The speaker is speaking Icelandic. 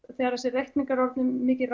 þegar þessir reikningar eru orðnir mikið